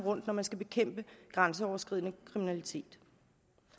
når man skal bekæmpe grænseoverskridende kriminalitet